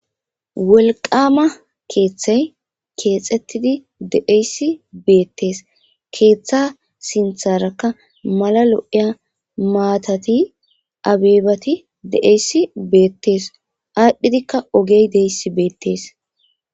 Wolqama keeththay keexxettidi de'eyssi beettees keeththa sintharakka mala lo'eya maatati abeebati de'eyssi beettes aadhdhidikka ogey deyssi beettees.